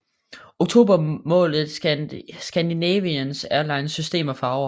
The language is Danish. Oktober malet i Scandinavian Airlines System farver